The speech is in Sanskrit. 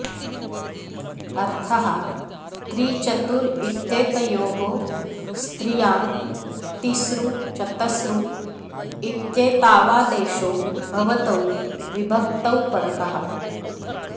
अर्थः त्रि चतुर् इत्येतयोः स्त्रियां तिसृ चतसृ इत्येतावादेशो भवतौ विभक्तौ परतः